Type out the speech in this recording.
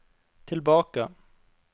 tilbake